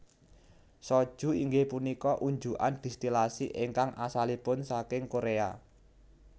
Soju inggih punika unjukan distilasi ingkang asalipun saking Korea